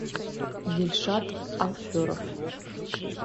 дильшат алферов